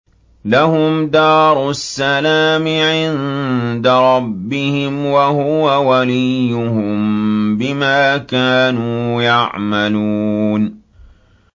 ۞ لَهُمْ دَارُ السَّلَامِ عِندَ رَبِّهِمْ ۖ وَهُوَ وَلِيُّهُم بِمَا كَانُوا يَعْمَلُونَ